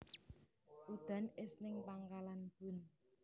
Udan es ning Pangkalan Bun